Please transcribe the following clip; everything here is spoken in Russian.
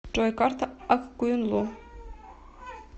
джой карта ак коюнлу